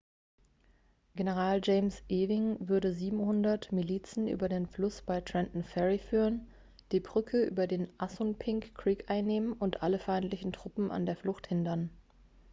general james ewing würde 700 milizen über den fluss bei trenton ferry führen die brücke über den assunpink creek einnehmen und alle feindlichen truppen an der flucht hindern